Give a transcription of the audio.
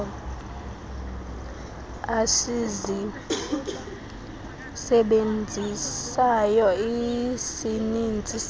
esizisebenzisayo isininzi sala